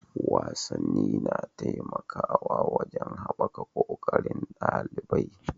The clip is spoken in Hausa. Wasanni na taimakawa wajen haɓaka ƙoƙarin ɗalibai.